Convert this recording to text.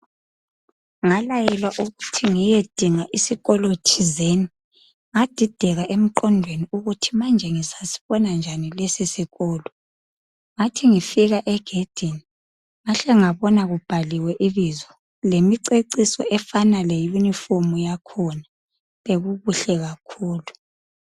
Ngalayelwa ukuthi ngiyedinga isikolo thizeni. Ngadideka emgqondweni ukuthi manje ngizasibona njani lesisikolo. Ngathi ngifika egedini ngatsho ngabona kubhaliwe ibizo, lemiceciso efana le yunifomu yakhona bekukuhle kakhulu.